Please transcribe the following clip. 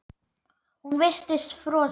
Hún virtist frosin.